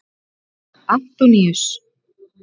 Antoníus